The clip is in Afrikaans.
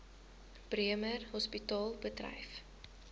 bremer hospitaal bedryf